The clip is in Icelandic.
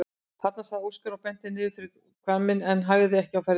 Þarna, sagði Óskar og benti niður fyrir hvamminn en hægði ekki á ferðinni.